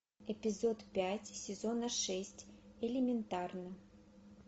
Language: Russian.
эпизод пять сезона шесть элементарно